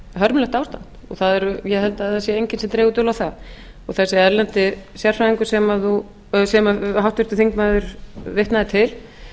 hörmulegt ástand og ég held að það sé enginn sem dregur dul á það þessi erlendi sérfræðingur sem háttvirtur þingmaður vitnaði til